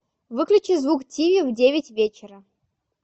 выключи звук тиви в девять вечера